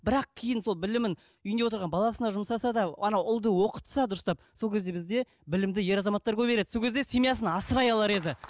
бірақ кейін сол білімін үйінде отырған баласына жұмсаса да ана ұлды оқытса дұрыстап сол кезде бізде білімді ер азаматтар көбейер еді сол кезде семьясын асырай алар еді